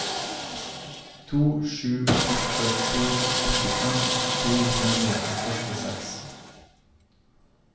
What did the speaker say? to sju åtte to åttifem to hundre og førtiseks